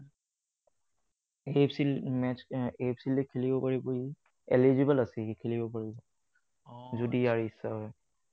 AFC match, AFC league খেলিব পাৰিব ই। Eligible আছে সি, খেলিব পাৰিব। যদি ইয়াৰ ইচ্ছা হয়।